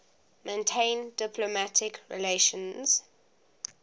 maintain diplomatic relations